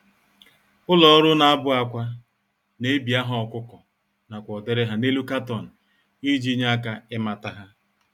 Ụlọ-ọrụ-na-abụ-ákwà n'ebi aha ọkụkọ, nakwa ụdịrị há n'elu carton iji nye aka ịmata há